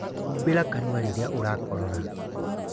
Humbĩra kanua rĩrĩa ũrakorora.